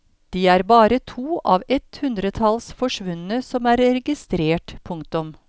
De er bare to av et hundretalls forsvunne som er registrert. punktum